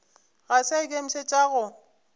ga se a ikemišetša go